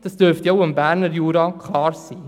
Das dürfte auch dem Berner Jura klar sein.